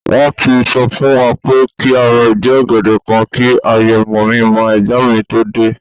Won ti so fun wa pe ki a ra idi ogede kan ki aye mominmoo egbon mi to de